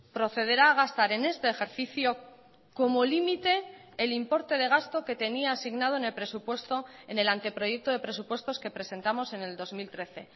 procederá a gastar en este ejercicio como límite el importe de gasto que tenía asignado en el presupuesto en el anteproyecto de presupuestos que presentamos en el dos mil trece